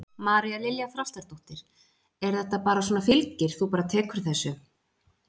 María Lilja Þrastardóttir: En þetta bara svona fylgir, þú bara tekur þessu?